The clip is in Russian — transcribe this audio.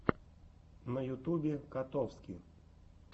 на ютубе котовски